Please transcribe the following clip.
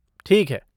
ठीक है।